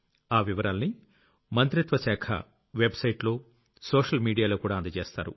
ఆ వివరాల్ని మంత్రిత్వ శాఖ వెబ్ సైట్ లో సోషల్ మీడియాలోకూడా అందజేస్తారు